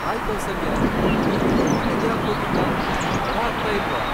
Hi Kausalya, ನೀವಿನ್ನೂ ಮನೆಗ್ ಯಾಕ್ ಹೋಗಿಲ್ಲ? ತಡ ಆಗ್ತಾ ಇಲ್ವಾ?